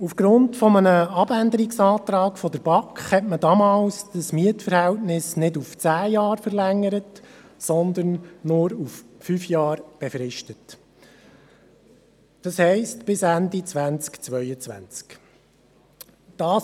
Aufgrund eines Abänderungsantrags der BaK hat man damals das Mietverhältnis nicht auf zehn Jahre verlängert, sondern nur auf fünf Jahre befristet, das heisst, bis Ende 2022.